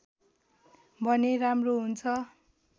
भने राम्रो हुन्छ